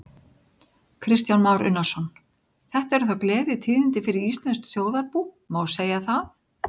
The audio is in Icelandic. Kristján Már Unnarsson: Þetta eru þá gleðitíðindi fyrir íslenskt þjóðarbú, má segja það?